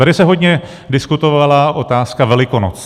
Tady se hodně diskutovala otázka Velikonoc.